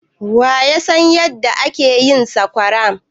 Waya san yadda ake yin sakwara?